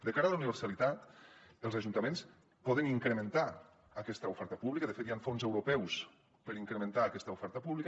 de cara la universalitat els ajuntaments poden incrementar aquesta oferta pública de fet hi han fons europeus per incrementar aquesta oferta pública